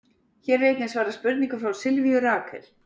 Hér er einnig svarað spurningu frá Sylvíu Rakel: